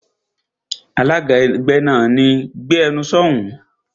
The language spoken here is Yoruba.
Alága ẹgbẹ́ náà, "Gbé ẹnu sọ̀ún!"